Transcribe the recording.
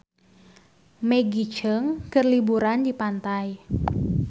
Maggie Cheung keur liburan di pantai